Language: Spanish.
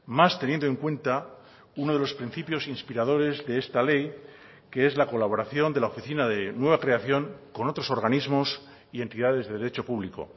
más teniendo en cuenta uno de los principios inspiradores de esta ley que es la colaboración de la oficina de nueva creación con otros organismos y entidades de derecho público